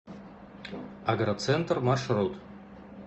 агроцентр маршрут